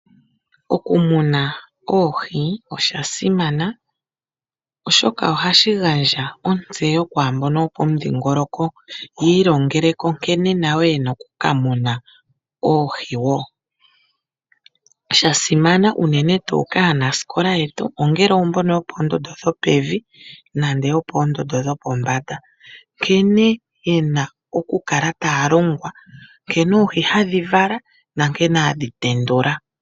Okumuna oohii osha simana oshoka ohashi gandja otsewo kwambono yopodhigoloko yilongeleko nkene nayo yena oku kamuna oohi wo, shasimana unene tu kaanasikola yetu ongele ombono yopondondo dhopevi nenge yopondondo dhopombanda nkene yena oku kala talongwa nkene oohi hadhivala nankene hadhi tendula.